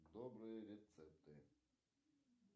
добрые рецепты